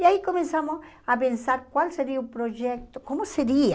E aí começamos a pensar qual seria o projeto, como seria.